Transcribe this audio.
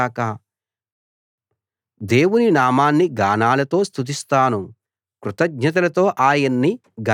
దేవుని నామాన్ని గానాలతో స్తుతిస్తాను కృతజ్ఞతలతో ఆయన్ని ఘనపరుస్తాను